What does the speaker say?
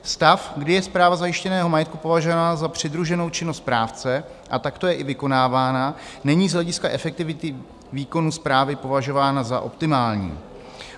Stav, kdy je správa zajištěného majetku považována za přidruženou činnost správce a takto je i vykonávána, není z hlediska efektivity výkonu správy považována za optimální.